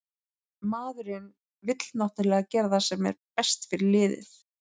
Maðurinn vill náttúrulega gera það sem er best fyrir liðið.